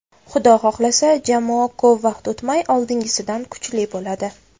Xudo xohlasa, jamoa ko‘p vaqt o‘tmay oldingisidan kuchli bo‘ladi”.